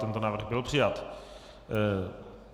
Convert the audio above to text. Tento návrh byl přijat.